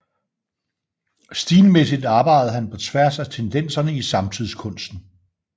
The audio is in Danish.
Stilmæssigt arbejdede han på tværs af tendenserne i samtidskunsten